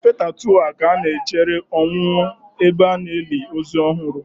Na fetha2 a ka na-echere owuwu ebe a na-eli ozu ọhụrụ.